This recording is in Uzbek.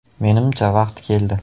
Menimcha, vaqti keldi.